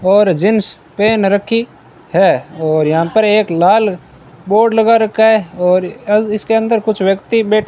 और jeans pant रखी है और यहां पर एक लाल बोर्ड लगा रखा है और इसके अ अंदर कुछ व्यक्ति बैठ --